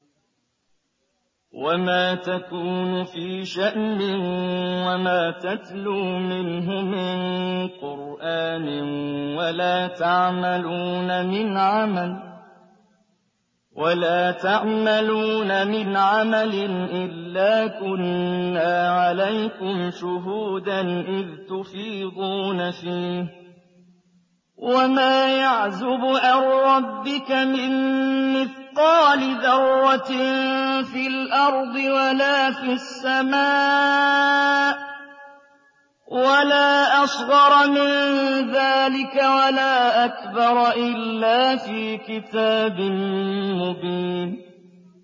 وَمَا تَكُونُ فِي شَأْنٍ وَمَا تَتْلُو مِنْهُ مِن قُرْآنٍ وَلَا تَعْمَلُونَ مِنْ عَمَلٍ إِلَّا كُنَّا عَلَيْكُمْ شُهُودًا إِذْ تُفِيضُونَ فِيهِ ۚ وَمَا يَعْزُبُ عَن رَّبِّكَ مِن مِّثْقَالِ ذَرَّةٍ فِي الْأَرْضِ وَلَا فِي السَّمَاءِ وَلَا أَصْغَرَ مِن ذَٰلِكَ وَلَا أَكْبَرَ إِلَّا فِي كِتَابٍ مُّبِينٍ